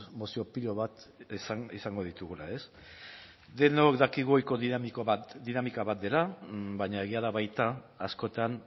mozio pila bat izango ditugula ez denok dakigu ohiko dinamika bat dela aina egia da baita askotan